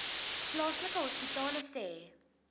plaaslike hospitale sê